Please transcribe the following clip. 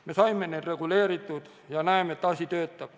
Me saime need reguleeritud ja näeme, et asi töötab.